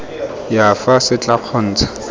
ya fa se tla kgontsha